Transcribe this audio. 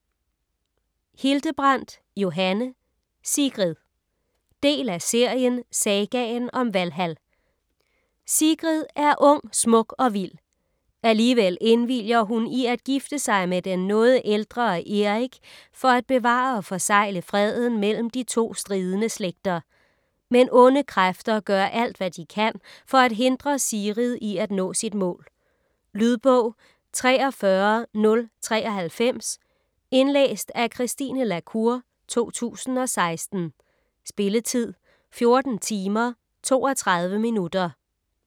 Hildebrandt, Johanne: Sigrid Del af serien Sagaen om Valhal. Sigrid er ung, smuk og vild. Alligevel indvilliger hun i at gifte sig med den noget ældre Erik for at bevare og forsegle freden mellem de to stridende slægter. Men onde kræfter gør alt, hvad de kan for at hindre Sigrid i at nå sit mål. . Lydbog 43093 Indlæst af Christine la Cour, 2016. Spilletid: 14 timer, 32 minutter.